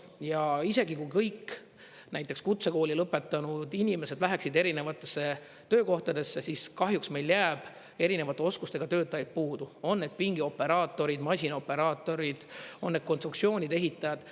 Ja isegi kui kõik näiteks kutsekooli lõpetanud inimesed läheksid erinevatesse töökohtadesse, siis kahjuks meil jääb erinevate oskustega töötajaid puudu: on need pingioperaatoreid, masinaoperaatorid, on need konstruktsioonide ehitajad.